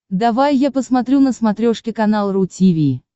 давай я посмотрю на смотрешке канал ру ти ви